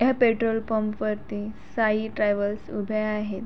या petrol pump वरती Sai travels उभ्या आहेत.